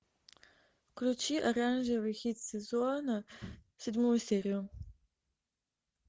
включи оранжевый хит сезона седьмую серию